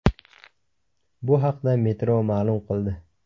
Bu haqda Metro ma’lum qildi .